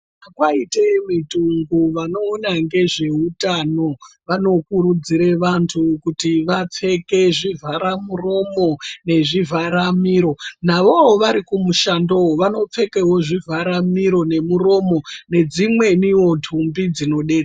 Kwaite mitongo vano ona ngezve utano vano kurudzire vantu kuti vapfeke zvivhara muromo ne zvivhara miro navovo vari ku mushando yo vano pfekawo zvi vhara miro ne muromo ne dzimwewo ndumbi dzino detsera.